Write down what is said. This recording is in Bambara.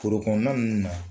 Forokɔnɔna ninnu na.